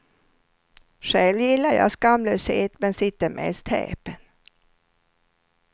Själv gillar jag skamlöshet men sitter mest häpen.